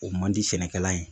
O man di sɛnɛkɛla ye